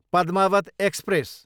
Padmaavat express